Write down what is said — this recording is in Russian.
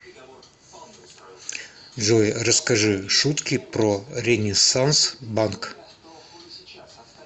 джой расскажи шутки про ренессанс банк